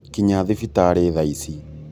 kinya thibitarĩ thaici